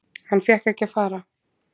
Hann fékk ekki að fara.